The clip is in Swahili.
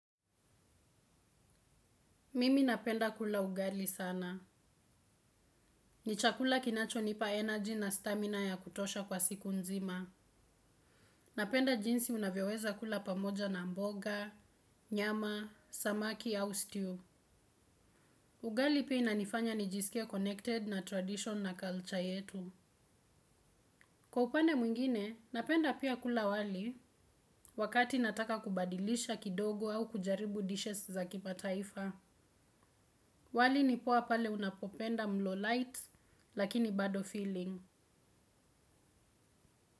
Mimi napenda kula ugali sana. Nichakula kinacho nipa energy na stamina ya kutosha kwa siku nzima. Napenda jinsi unavyoweza kula pamoja na mboga, nyama, samaki au stew. Ugali pia inanifanya nijisikie connected na tradition na culture yetu. Kwa upande mwingine, napenda pia kula wali wakati nataka kubadilisha kidogo au kujaribu dishes za kimataifa. Wali nipoa pale unapopenda mlo light lakini bado feeling.